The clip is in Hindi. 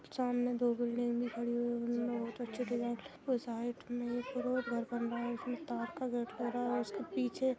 सामने दो बिल्डिंग भी खड़ी हुई है| बिल्डिंग में बहुत अच्छे डिज़ाइन और साइड में एक रोड घर बन रहा है उसमें ताड़ का गेट लग रहा है | उसके पीछे --